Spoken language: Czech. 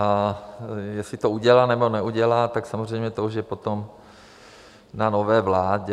A jestli to udělá, nebo neudělá, tak samozřejmě to už je potom na nové vládě.